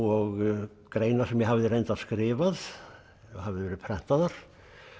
og greinar sem ég hafði reyndar skrifað og höfðu verið prentaðar